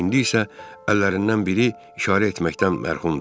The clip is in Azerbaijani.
İndi isə əllərindən biri işarə etməkdən mərhumdur.